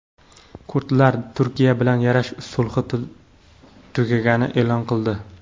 Kurdlar Turkiya bilan yarash sulhi tugaganini e’lon qildi.